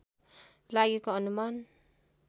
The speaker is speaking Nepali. लागेको अनुमान